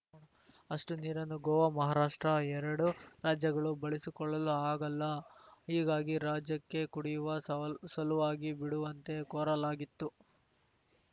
ಅಷ್ಟುನೀರನ್ನು ಗೋವಾ ಮಹಾರಾಷ್ಟ್ರ ಎರಡು ರಾಜ್ಯಗಳು ಬಳಸಿಕೊಳ್ಳಲು ಆಗಲ್ಲ ಹೀಗಾಗಿ ರಾಜ್ಯಕ್ಕೆ ಕುಡಿಯುವ ಸವ್ ಸಲುವಾಗಿ ಬಿಡುವಂತೆ ಕೋರಲಾಗಿತ್ತು